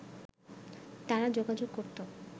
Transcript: তারা যোগাযোগ করত